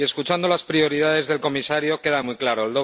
Y escuchando las prioridades del comisario, queda muy claro.